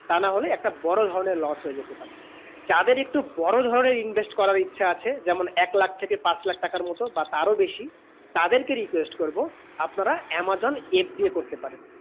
তা না হলে একটা বোরো ধরণে loss হতে যেতে পারে যাদের একটু বোরো ধরণে invest করা ইচ্ছা আছে যেমন এক লাখ থেকে পাঁচ লাখ টাকা মতুন বা তার আরও বেশি তাদের কে request করবো আপনারা amazon FBI করতে পারেন